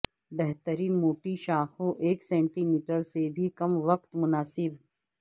بہترین موٹی شاخوں ایک سینٹی میٹر سے بھی کم وقت مناسب